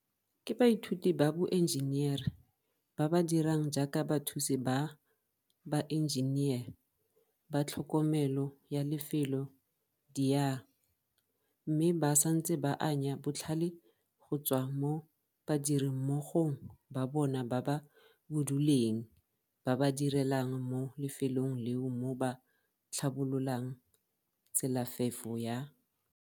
Ke baithuti ba boenjenere ba ba dirang jaaka bathusi ba baenjenere ba tlhokomelo ya lefelo diARE mme ba santse ba anya botlhale go tswa mo badirimmogong ba bona ba ba buduleng ba ba direlang mo lefelong leo mo ba tlhabololang tselafefo ya.